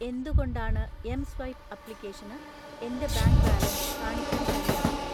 എന്തുകൊണ്ടാണ് എംസ്വൈപ്പ് ആപ്ലിക്കേഷന് എൻ്റെ ബാങ്ക് ബാലൻസ് കാണിക്കാൻ കഴിയാത്തത്?